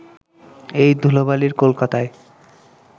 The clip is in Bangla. এই ধুলোবালির কলকাতায়